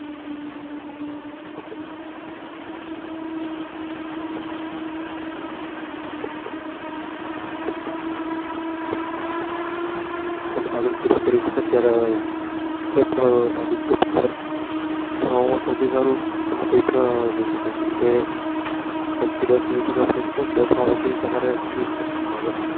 હવે તમે અગળ શરુ કરી શકો ત્યારે કોઈ પણ આગ ભણવા માં સૌથી સારું કોઈ પણ લઇ શકો જેમ કે એક થી દસ સુધી તમે અ મ લઇ શકો પસી દસ માં પછી તમારે choose કરવા નું આવે.